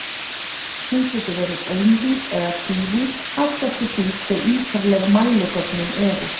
Hún getur verið einvíð eða tvívíð, allt eftir því hve ítarleg mæligögnin eru.